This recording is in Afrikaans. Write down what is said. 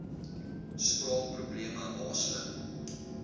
spraak probleme haaslip